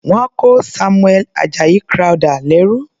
Wọ́n kó Samuel Ajayi Crowther lẹ́rú.